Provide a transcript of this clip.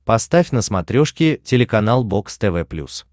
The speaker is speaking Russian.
поставь на смотрешке телеканал бокс тв плюс